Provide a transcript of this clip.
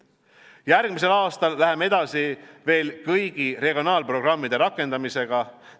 Järgmisel aastal läheme edasi veel kõigi regionaalprogrammide rakendamisega.